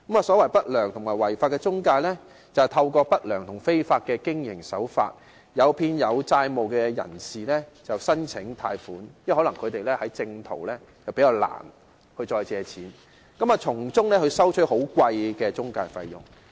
所謂不良和違法的中介，就是透過不良及違法的經營手法，誘騙有債務問題的人士申請貸款，因為他們可能較難循正途借貸，並從中收取高昂的中介費用。